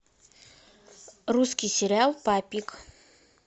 русский сериал папик